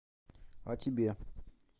а тебе